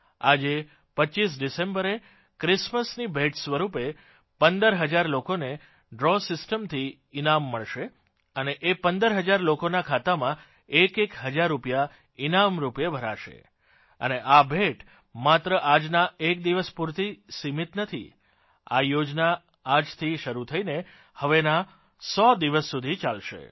આજે 25 ડિસેમ્બરે ક્રિમસમની ભેટ સ્વરૂપે પંદર હજાર લોકોને ડ્રો સિસ્ટમથી ઇનામ મળશે અને એ પંદર હજાર લોકોના ખાતામાં એકએક હજાર રૂપીયા ઇનામ રૂપે ભરાશે અને આ ભેટ માત્ર આજના એક દિવસ પૂરતી સિમીત નથી આ યોજના આજથી શરૂ થઇને હવેના 100 દિવસ સુધી ચાલશે